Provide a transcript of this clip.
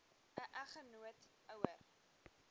n eggenoot ouer